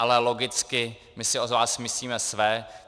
Ale logicky my si o vás myslíme své.